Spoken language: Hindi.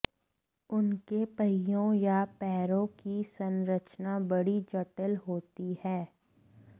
उनके पहियों या पैरों की संरचना बड़ी जटिल होती है